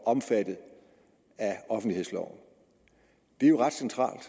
omfattet af offentlighedsloven det er jo ret centralt